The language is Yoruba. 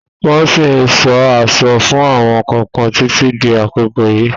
Wọ́n ṣí ń sọ àlọ́ fún àwọn kọ̀ọ̀kan títí di àkókò yìí.